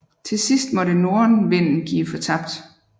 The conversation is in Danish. Til sidst måtte nordenvinden give fortabt